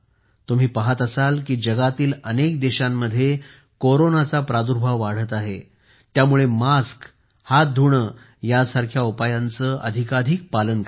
तुम्ही पाहत असाल कि जगातील अनेक देशांमध्ये कोरोनाचा प्रादुर्भाव वाढत आहे त्यामुळे मास्क आणि हात धुणे यासारख्या उपायांचे अधिकाधीक पालन करा